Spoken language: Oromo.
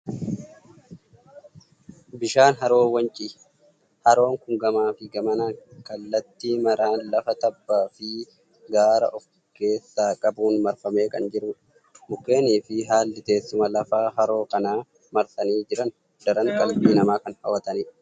Bishaan haroo Wancii. Haroon kun gamaa fi gamanaan kallattii maraan lafa tabbaa fi gaara ofkeessaa qabuun marfamee kan jirudha. Mukeenii fi haalli teessuma lafaa haroo kana marsanii jiran daran qalbii namaa kan hawwatanidha.